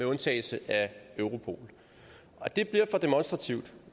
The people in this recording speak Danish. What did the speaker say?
undtagelse af europol det bliver for demonstrativt